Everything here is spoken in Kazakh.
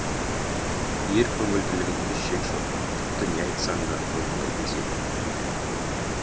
ер көңілділігінде шек жоқ тіпті не айтсаң да орындайтын секілді